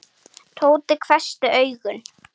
Tóti hvessti augum.